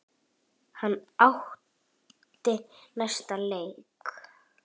Hann átti næsta leik.